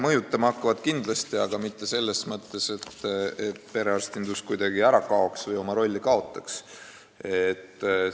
Mõjutama hakkavad kindlasti, aga mitte selles mõttes, et perearstinduse roll kuidagi kaob ära.